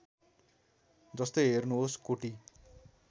जस्तै हेर्नुहोस् कोटि